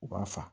U b'a fa